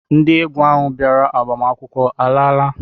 Ndị egwu ahụ bịara agbamakwụkwọ alaala?